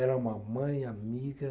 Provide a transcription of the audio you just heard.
Era uma mãe, amiga.